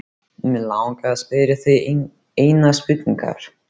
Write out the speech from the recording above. Mig langar til að spyrja þig einnar spurningar.